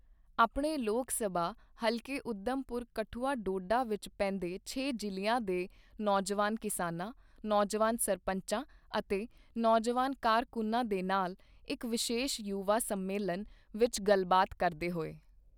ਆਪਣੇ ਲੋਕ ਸਭਾ ਹਲਕੇ ਊਧਮਪੁਰ ਕਠੂਆ ਡੋਡਾ ਵਿੱਚ ਪੈਂਦੇ ਛੇ ਜ਼ਿਲ੍ਹਿਆਂ ਦੇ ਨੌਜਵਾਨ ਕਿਸਾਨਾਂ, ਨੌਜਵਾਨ ਸਰਪੰਚਾਂ ਅਤੇ ਨੌਜਵਾਨ ਕਾਰਕੁੰਨਾਂ ਦੇ ਨਾਲ ਇੱਕ ਵਿਸ਼ੇਸ਼ ਯੁਵਾ ਸੰਮੇਲਨ ਵਿੱਚ ਗੱਲਬਾਤ ਕਰਦੇ ਹੋਏ।